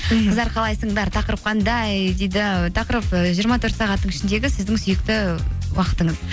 мхм қыздар қалайсыңдар тақырып қандай дейді тақырып ы жиырма төрт сағаттың ішіндегі сіздің сүйікті уақытыңыз